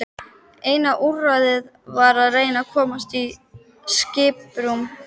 Eina úrræðið var að reyna að komast í skiprúm.